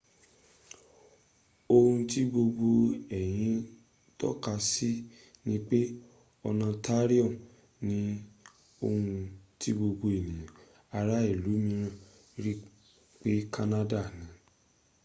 ohun tí gbogbo èyí ń tọ́ka sí ni pé ontario ni ohun tí gbogbo ènìyàn ará ìlú mìíràn rí pé canada n